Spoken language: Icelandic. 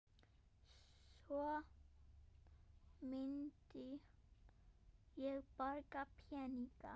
Svo myndi ég borga peninga